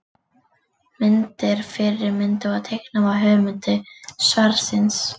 Myndir: Fyrri myndin var teiknuð af höfundi svarsins.